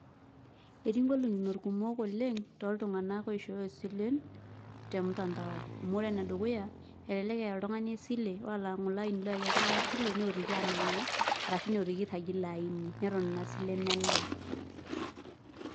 Etii golikinot kumok oleng toltung'anak oishooyo silen, temtandao. Amu ore enedukuya, elelek eya oltung'ani esile, ore olang'ole aini oyayie oltung'ani esile, neotiki anang'aa, arashu neotiki airragie ilo aini. Neton inasile melaa.